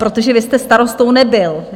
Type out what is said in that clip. Protože vy jste starostou nebyl.